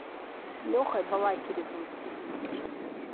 лехой балакиревым